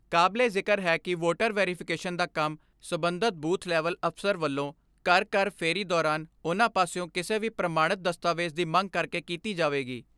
ਕਾਬਲੇ ਜਿਕਰ ਹੈ ਕਿ ਵੋਟਰ ਵੈਰੀਫਿਕੇਸ਼ਨ ਦਾ ਕੰਮ ਸਬੰਧਤ ਬੂਥ ਲੈਵਲ ਅਪਸਰ ਵੱਲੋਂ ਘਰ ਘਰ ਫੇਰੀ ਦੌਰਾਨ ਉਨ੍ਹਾਂ ਪਾਸਿਓਂ ਕਿਸੇ ਵੀ ਪ੍ਰਮਾਣਤ ਦਸਤਾਵੇਜ ਦੀ ਮੰਗ ਕਰਕੇ ਕੀਤੀ ਜਾਵੇਗੀ।